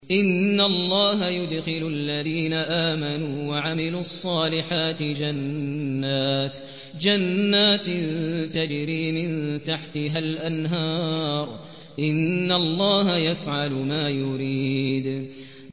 إِنَّ اللَّهَ يُدْخِلُ الَّذِينَ آمَنُوا وَعَمِلُوا الصَّالِحَاتِ جَنَّاتٍ تَجْرِي مِن تَحْتِهَا الْأَنْهَارُ ۚ إِنَّ اللَّهَ يَفْعَلُ مَا يُرِيدُ